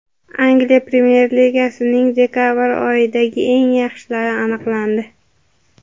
Angliya Premyer Ligasining dekabr oyidagi eng yaxshilari aniqlandi.